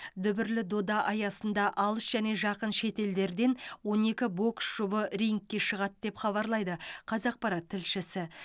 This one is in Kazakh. дүбірлі дода аясында алыс және жақын шетелдерден он екі бокс жұбы рингке шығады деп хабарлайды қазақпарат тілшісі